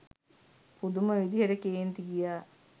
පුදුම විදිහට කේන්ති ගියා.